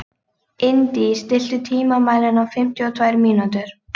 Indí, stilltu tímamælinn á fimmtíu og tvær mínútur.